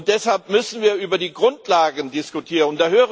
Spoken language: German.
Deshalb müssen wir über die Grundlagen diskutieren.